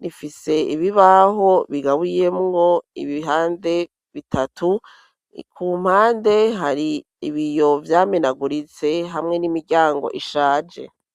nifise ibibaho bigabuye mwo ibihande bitatu i ku mpande hari ibiyo byaminaguritse hamwe n'imiryango ishaje.